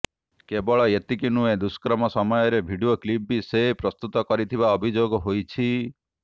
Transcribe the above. କେବଳ ଏତିକି ନୁହେଁ ଦୁଷ୍କର୍ମ ସମୟରେ ଭିଡିଓ କ୍ଲିପ୍ ବି ସେ ପ୍ରସ୍ତୁତ କରିଥିବା ଅଭିଯୋଗ ହୋଇଛି